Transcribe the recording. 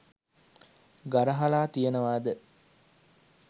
ගරහලා තියෙනවද?